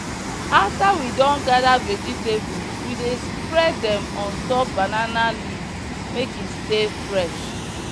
after we don gather vegetable we dey spread dem on top banana leaf make e stay fresh.